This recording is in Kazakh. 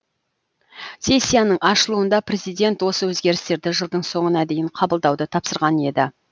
сессияның ашылуында президент осы өзгерістерді жылдың соңына дейін қабылдауды тапсырған еді